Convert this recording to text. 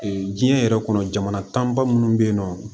diɲɛ yɛrɛ kɔnɔ jamana kan ba minnu bɛ yen nɔ